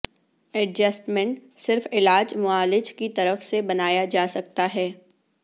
adjustment صرف علاج معالج کی طرف سے بنایا جا سکتا ہے